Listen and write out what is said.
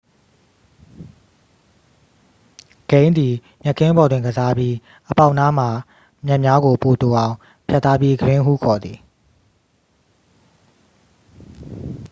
ဂိမ်းသည် မြက်ခင်းပေါ်တွင်ကစားပြီး အပေါက်နားမှာ မြက်များကို ပိုတိုအောင် ဖြတ်ထားပြီး ဂရင်းဟုခေါ်သည်